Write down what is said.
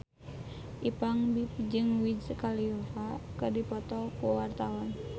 Ipank BIP jeung Wiz Khalifa keur dipoto ku wartawan